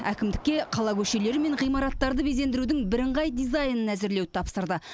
әкімдікке қала көшелері мен ғимараттарды безендірудің бірыңғай дизайнын әзірлеуді тапсырды